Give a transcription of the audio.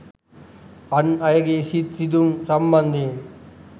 අන් අයගේ සිත් රිදීම් සම්බන්ධයෙන්